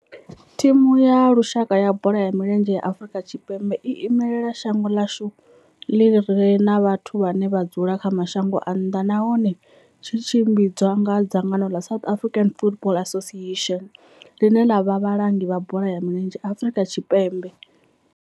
Thimu ya lushaka ya bola ya milenzhe ya Afrika Tshipembe i imela shango ḽa hashu ḽi re na vhathu vhane vha dzula kha mashango a nnḓa nahone tshi tshimbidzwa nga dzangano la South African Football Association, line la vha vhalangi vha bola ya milenzhe Afrika Tshipembe.